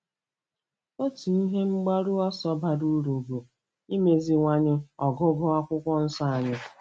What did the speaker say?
Otu ihe mgbaru ọsọ bara uru bụ imeziwanye ọgụgụ Akwụkwọ Nsọ anyị.